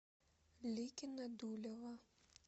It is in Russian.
ликино дулево